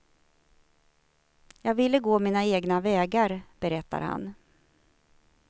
Jag ville gå mina egna vägar, berättar han.